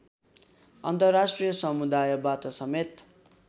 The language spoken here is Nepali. अन्तर्राष्ट्रिय समुदायबाट समेत